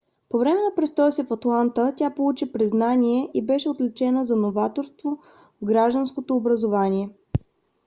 по време на престоя си в атланта тя получи признание и беше отличена за новаторство в градското образование